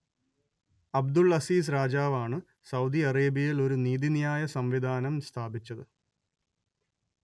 Abdul Aziz രാജാവ് ആണ് Saudi അറേബ്യയിൽ ഒരു നീതിന്യായ സംവിധാനം സ്ഥാപിച്ചത്